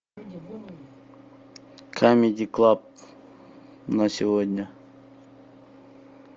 камеди клаб на сегодня